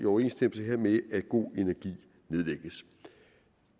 overensstemmelse hermed at go energi nedlægges